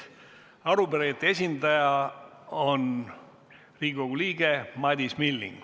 Arupärijate esindaja on Riigikogu liige Madis Milling.